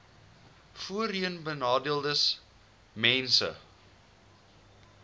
voorheenbenadeeldesmense